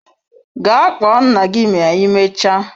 Gaa kpọọ nna gị ma ịmecha!